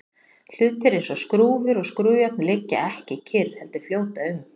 hlutir eins og skrúfur og skrúfjárn liggja ekki kyrr heldur fljóta um